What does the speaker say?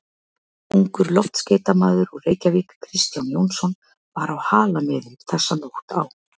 Ungur loftskeytamaður úr Reykjavík, Kristján Jónsson, var á Halamiðum þessa nótt á